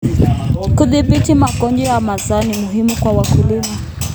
Kudhibiti magonjwa ya mazao ni muhimu kwa wakulima.